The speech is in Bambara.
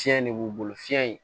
Fiɲɛ de b'u bolo fiɲɛ in